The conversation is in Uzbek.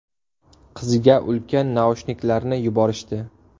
Qizga ulkan naushniklarni yuborishdi.